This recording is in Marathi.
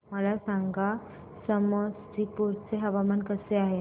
मला सांगा समस्तीपुर चे हवामान कसे आहे